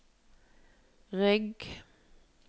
rygg